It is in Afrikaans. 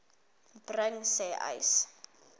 bring sê uys